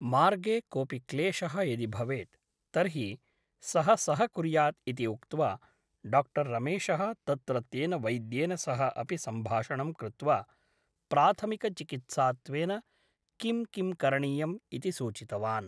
मार्गे कोऽपि क्लेशः यदि भवेत् तर्हि सः सहकुर्यात् इति उक्त्वा डाक्टर् रमेशः तत्रत्येन वैद्येन सह अपि सम्भाषणं कृत्वा प्राथमिकचिकित्सात्वेन किं किं करणीयम् इति सूचितवान्।